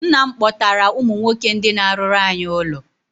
Nna m kpọtara ụmụ nwoke ndị na-arụrụ anyị ụlọ.